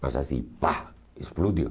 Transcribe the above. Mas assim, pá, explodiu.